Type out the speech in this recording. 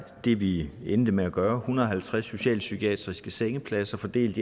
det vi endte med at gøre en hundrede og halvtreds socialpsykiatriske sengepladser fordelt